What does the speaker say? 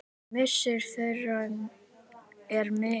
Missir þeirra er mikill.